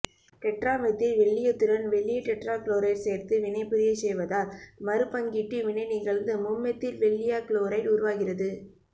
டெட்ராமெத்தில்வெள்ளீயத்துடன் வெள்ளீய டெட்ராகுளோரைடு சேர்த்து வினைபுரியச் செய்வதால் மறுபங்கீட்டு வினை நிகழ்ந்து மும்மெத்தில்வெள்ளீயக் குளோரைடு உருவாகிறது